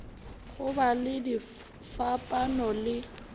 go ba le difapano le